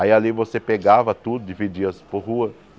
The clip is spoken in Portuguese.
Aí ali você pegava tudo e dividia por rua.